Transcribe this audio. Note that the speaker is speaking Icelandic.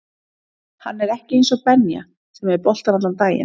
Hann er ekki eins og Benja sem er með boltann allan daginn